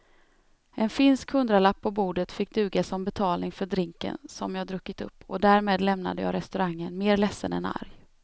En finsk hundralapp på bordet fick duga som betalning för drinken som jag druckit upp och därmed lämnade jag restaurangen mer ledsen än arg.